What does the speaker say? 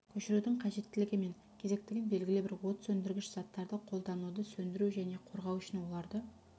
көшірудің қажеттілігі мен кезектігін белгілі бір от сөндіргіш заттарды қолдануды сөндіру және қорғау үшін оларды